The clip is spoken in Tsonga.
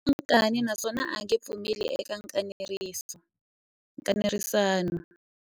U na nkani naswona a nge pfumeli eka nkanerisano.